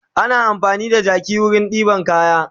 Ana amfani da jaki wurin ɗeban kaya